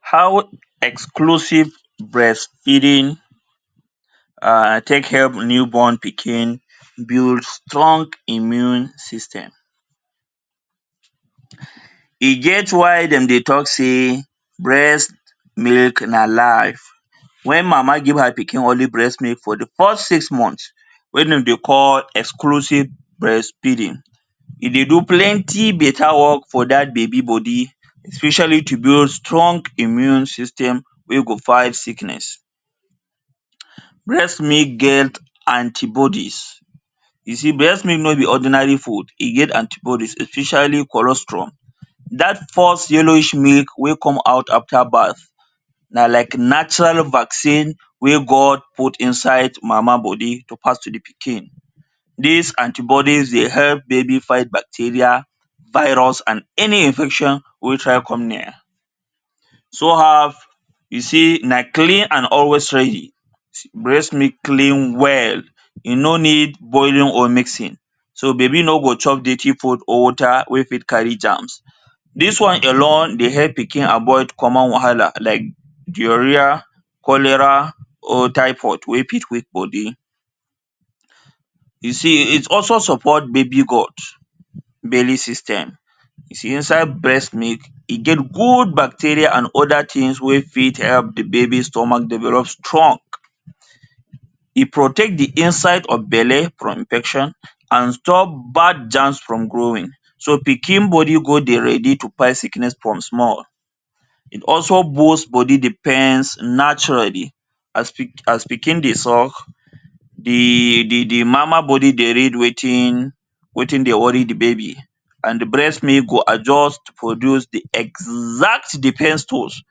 How exclusive breastfeeding um take help new born pikin build strong immune system. E get why dem dey talk sey breast milk na life. When mama give her pikin only breast milk for de first six month, wen dem dey call exclusive breastfeeding. E dey do plenty beta work for dat baby body, especially to build strong immune system wey go fight sickness. Breast milk get antibodies. You see breast milk no be ordinary food, e get antibodies especially colostrum. Dat first yellowish milk wey come out after birth na like natural vaccine wey God put inside mama body to pass to de pikin. Dis antibodies dey help baby fight bacteria, virus and any infection wey try come near. So have, you see na clean and always ready. Breast milk clean well. E no need boiling or mixing. So baby no go chop detty food or water wey fit carry germs. Dis one alone dey help pikin avoid common wahala like diarrhoea, cholera or typhoid wey fit weak body. You see, it also support baby growth, belly system. See inside breast milk, e get good bacteria and other things wey fit help de baby stomach develop strong. E protect de inside of belle from infection and stop bad germs from growing, so pikin body go dey ready to fight sickness from small. It also boost body defense naturally, as pikin dey suck, de de de mama body dey read wetin wetin dey worry de baby, and de breat milk go adjust produce de exact defense tools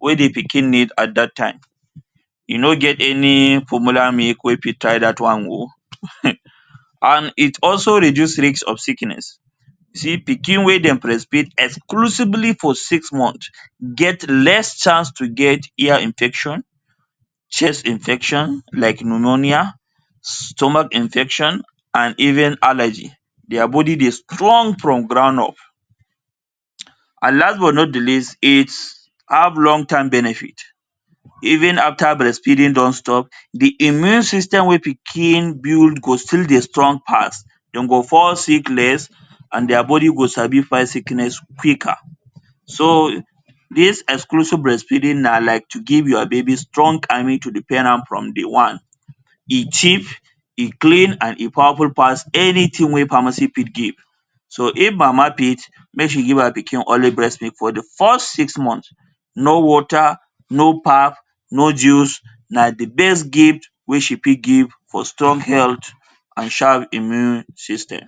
wey de pikin need at dat time. E no get any formula milk wey fit try dat one oo. And it also reduce risk of sickness. See pikin wey dem breastfeed exclusively for six months get less chance to get ear infection, chest infection like pneumonia, stomach infection and even allergy. Dia body dey strong from ground up. And last but not de least, it have long term benefit. Even after breast feeding don stop, de immune system wey pikin build go still dey strong pass, dem go fall sick less, and dia body go sabi fight sickness quicker. So dis exclusive breastfeeding na like to give your baby strong army to defend am from day one. E cheap, e clean and e powerful pass anything wey pharmacy fit give. So if mama fit, make she give her pikin only breast milk for de first six months. No water, no pap, no juice, na de best gift wey she fit give for strong health and sharp immune system.